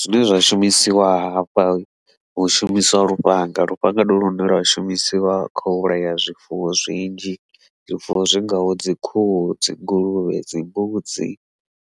Zwine zwa shumisiwa hafha hu shumisiwa lufhanga, lufhanga ndi lune lwa shumisiwa kha u vhulaya zwifuwo zwinzhi zwifuwo zwi ngaho dzi khuhu, dzi nguluvhe, dzi mbudzi,